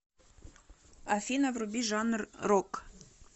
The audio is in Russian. афина вруби жанр рок